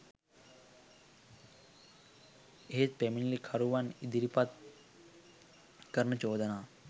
එහෙත් පැමිණිලිකරුවන් ඉදිරිපත් කරන චෝදනා